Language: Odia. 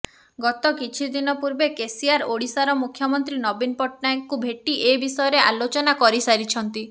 ଗତ କିଛି ଦିନ ପୂର୍ବେ କେସିଆର ଓଡ଼ିଶାର ମୁଖ୍ୟମନ୍ତ୍ରୀ ନବୀନ ପଟ୍ଟନାୟକଙ୍କୁ ଭେଟି ଏ ବିଷୟରେ ଆଲୋଚନା କରିସାରିଛନ୍ତି